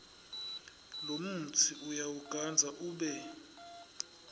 lomutsi uyawugandza ube